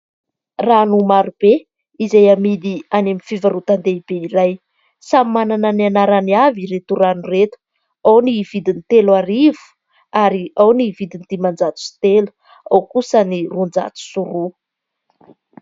Rano maro be izay amidy any amin'ny fivarotan-dehibe iray, samy manana ny anarany avy ireto rano ireto, ao ny vidiny telo arivo ary ao ny vidiny diman-jato sy telo ao kosa ny roanjato sy roa.